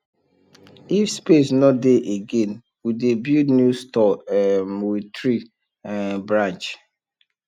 if space no dey again we dey build new store um with tree um branch